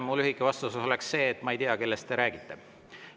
Mu lühike vastus oleks see, et ma ei tea, kellest te räägite.